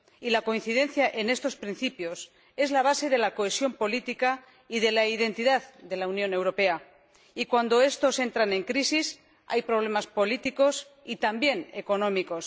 La coincidencia en estos principios es la base de la cohesión política y de la identidad de la Unión Europea, y cuando estos entran en crisis hay problemas políticos y también económicos.